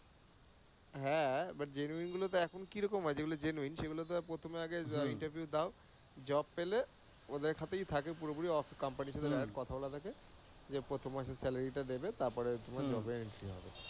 হ্যাঁ, but genuine গুলো তো এখন কি রকম হয়, যেগুলো genuine সেগুলো তো প্রথমে আগে interview দাও, job পেলে ওদের সাথেই থাকে পুরোপুরি কোম্পানি এর সাথে direct কথা বলা থাকে, যে প্রথম মাসের salary টা দেবে তারপরে তোমার job এ entry হবে।